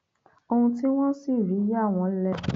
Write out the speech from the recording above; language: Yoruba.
ohun tí wọn sì rí yà wọn lẹnu